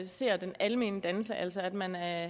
ser den almene dannelse altså at man er